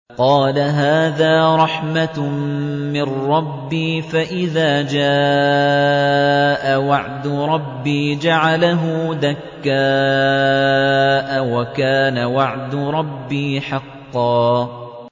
قَالَ هَٰذَا رَحْمَةٌ مِّن رَّبِّي ۖ فَإِذَا جَاءَ وَعْدُ رَبِّي جَعَلَهُ دَكَّاءَ ۖ وَكَانَ وَعْدُ رَبِّي حَقًّا